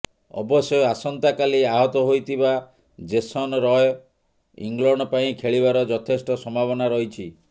ଅବଶ୍ୟ ଆସନ୍ତାକାଲି ଆହତ ହୋଇଥିବା ଜେସନ ରୟ ଇଂଲଣ୍ଡ ପାଇଁ ଖେଳିବାର ଯଥେଷ୍ଟ ସମ୍ଭାବନା ରହିଛି